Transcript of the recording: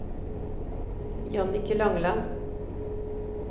Jannicke Langeland